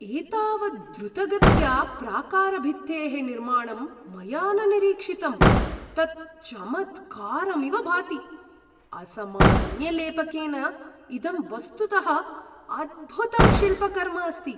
एतावत् द्रुतगत्या प्राकारभित्तेः निर्माणं मया न निरीक्षितम्, तत् चमत्कारमिव भाति! असामान्यलेपकेन इदं वस्तुतः अद्भुतं शिल्पकर्म अस्ति।